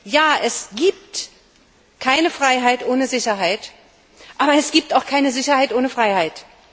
Ja, es gibt keine Freiheit ohne Sicherheit, aber es gibt auch keine Sicherheit ohne Freiheit!